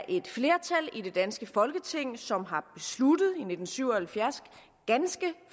et flertal i det danske folketing som i nitten syv og halvfjerds ganske